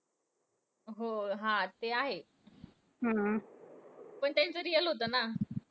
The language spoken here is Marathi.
हो. हा ते आहे. हम्म पण त्यांचं real होतं ना!